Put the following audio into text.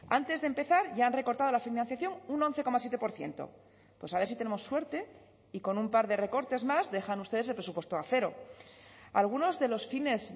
antes de empezar ya han recortado la financiación un once coma siete por ciento pues a ver si tenemos suerte y con un par de recortes más dejan ustedes el presupuesto a cero algunos de los fines